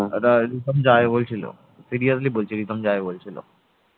রিতম যাবে বলছিল, seriously বলছি রিতম যাবে বলছিল